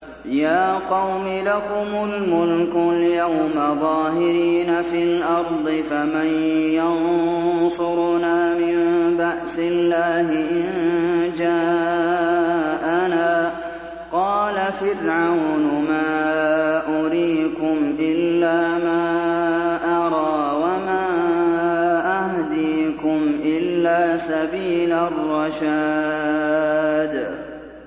يَا قَوْمِ لَكُمُ الْمُلْكُ الْيَوْمَ ظَاهِرِينَ فِي الْأَرْضِ فَمَن يَنصُرُنَا مِن بَأْسِ اللَّهِ إِن جَاءَنَا ۚ قَالَ فِرْعَوْنُ مَا أُرِيكُمْ إِلَّا مَا أَرَىٰ وَمَا أَهْدِيكُمْ إِلَّا سَبِيلَ الرَّشَادِ